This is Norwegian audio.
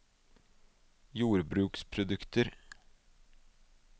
jordbruksprodukter